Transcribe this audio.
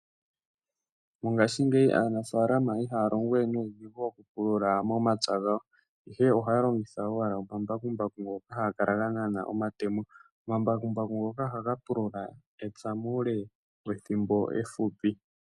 Mongashingeyi aanafalama ihaya longo we nuudhingu okupulula momapya gawo, ihe ohaya longitha owala omambakumbaku ngoka haga gena omatemo. Okambakumbaku ngoka ohaga pulula epya muule wethimbo efupi.